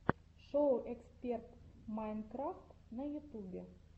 шоу эксперт майнкрафт на ютубе